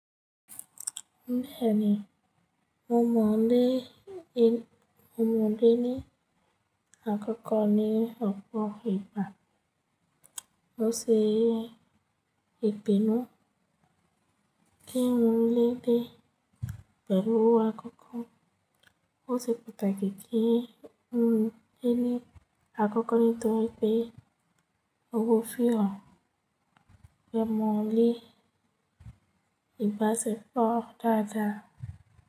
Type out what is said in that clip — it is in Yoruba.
Ní ẹ̀ni i, mo mọ̀ ọ́n lé, ye mo mọ̀ ọ́n lé ní àkọ́kọ́ ní ọ̀pọ̀ ìgbà. Ó ṣe ìpinnu kí n mọ̀ ọ́n lé dé pẹ̀lú àkọ́kọ́. Ó ṣe pàtàkì kí n mọ̀ ọ́n lé àkọ́kọ́ nítorí pé ówo fi hàn pé mọ̀ ọ́n lé ìbàṣepọ̀ dáadáa.